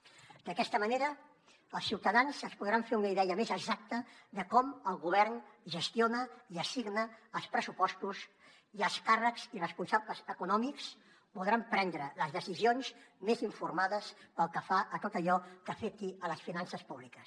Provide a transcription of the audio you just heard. d’aquesta manera els ciutadans es podran fer una idea més exacta de com el govern gestiona i assigna els pressupostos i els càrrecs i responsables econòmics podran prendre les decisions més informades pel que fa a tot allò que afecti les finances públiques